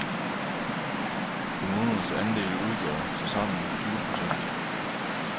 Kommunernes andele udgjorde tilsammen tyve procent.